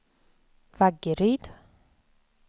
Vaggeryd